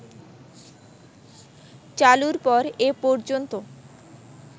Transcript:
চালুর পর এ পর্যন্ত